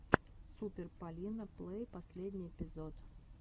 супер полина плэй последний эпизод